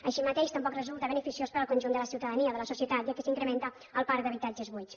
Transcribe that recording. així mateix tampoc resulta beneficiós per al conjunt de la ciutadania de la societat ja que s’incrementa el parc d’habitatges buits